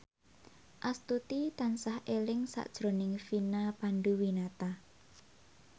Astuti tansah eling sakjroning Vina Panduwinata